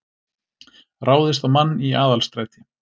Ráðist á mann í Aðalstræti